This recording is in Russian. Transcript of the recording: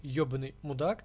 ебанный мудак